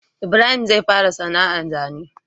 Ibrahim zai fara sana ar zane